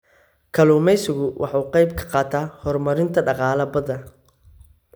Kalluumaysigu waxa uu ka qayb qaataa horumarinta dhaqaalaha badda.